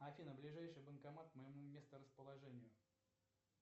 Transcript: афина ближайший банкомат к моему месторасположению